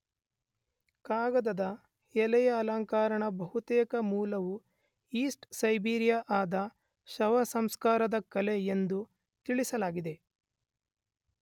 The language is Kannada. ಕಾಗದದ ಎಲೆಯ ಅಲಂಕರಣದ ಬಹುತೇಕ ಮೂಲವು ಈಸ್ಟ್ ಸೈಬೇರಿಯಾದ ಶವಸಂಸ್ಕಾರದ ಕಲೆ ಎಂದು ತಿಳಿಯಲಾಗಿದೆ.